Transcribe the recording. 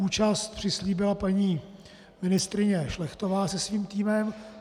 Účast přislíbila paní ministryně Šlechtová se svým týmem.